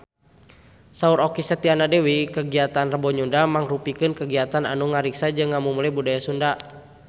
Saur Okky Setiana Dewi kagiatan Rebo Nyunda mangrupikeun kagiatan anu ngariksa jeung ngamumule budaya Sunda